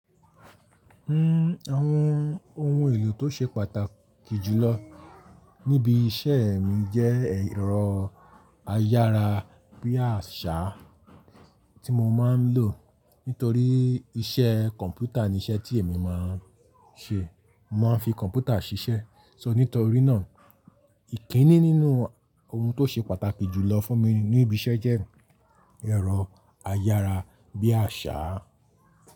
N, àwon oun èlò to se pàtàkì jùlọ níbi isẹ́ mi je ẹ̀rọ ayára bí àṣá tí mo máa ń lò. Nítorí iṣẹ́ kọ̀ǹpútà ní iṣẹ́ tí èmi máa ń ṣe. Mo máa ń fi kọ̀ǹpútà ṣiṣẹ́. So nítorí náà ìkíni nínú oun tó ṣe pàtàkì jùlọ fún mi ní ibi iṣẹ́ jẹ́ ẹ̀rọ ayára bí àṣá.